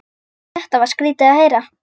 Þetta var skrýtið að heyra.